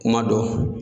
Kuma dɔ